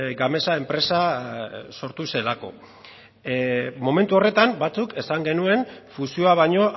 gamesa enpresa sortu zelako momentu horretan batzuk esan genuen fusioa baino